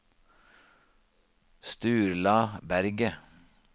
Sturla Berget